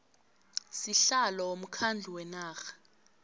sihlalo womkhandlu wenarha